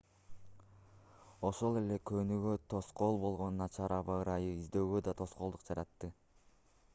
ошол эле конууга тоскоол болгон начар аба ырайы издөөгө да тоскоолдук жаратты